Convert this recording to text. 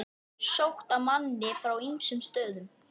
Sótt að manni frá ýmsum stöðum.